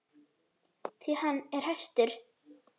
Því hann er hestur.